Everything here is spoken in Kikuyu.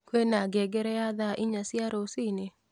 kwĩna ngengere ya thaa inya cia rũcinĩ